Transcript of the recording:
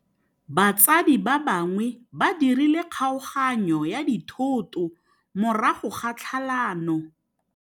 Batsadi ba gagwe ba dirile kgaoganyô ya dithoto morago ga tlhalanô.